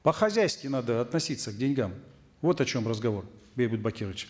по хозяйски надо относиться к деньгам вот о чем разговор бейбит бакирович